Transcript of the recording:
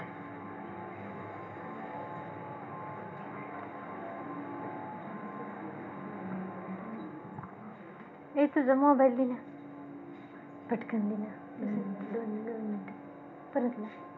ए तुझा mobile घे गं. पटकन घेना